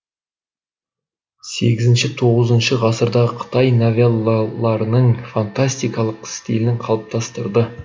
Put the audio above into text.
сегізінші тоғызыншы ғасырдағы қытай новеллаларының фантастикалық стилін қалыптастырды